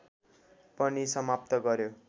पनि समाप्त गर्‍यो